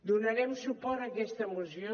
donarem suport a aquesta moció